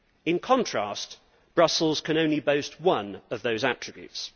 In contrast, Brussels can only boast one of those attributes.